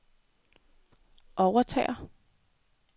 overtager